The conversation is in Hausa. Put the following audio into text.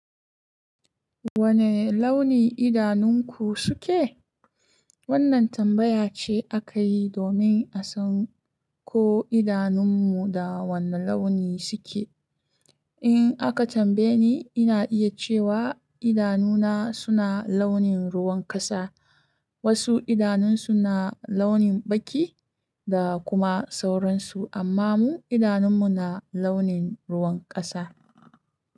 Wane launi idanun ku suke? Wannan tambaya ce aka yi domin a san ko idanunmu da wane launi suke. In aka tambaye ni, ina iya cewa idanuna suna launin ruwan kasa. Wasu idanunsu na launin baki da kuma sauransu, amma mu idanunmu na launin ruwan kasa.